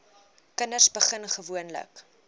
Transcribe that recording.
kinders begin gewoonlik